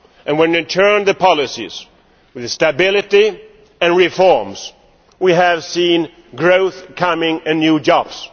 when you turn the policies, with stability and reforms, we see growth coming and new jobs.